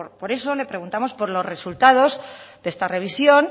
por eso le preguntamos por los resultados de esta revisión